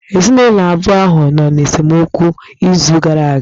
Ezinụlọ abụọ ahụ nọ n'esemokwu n'izu gara aga.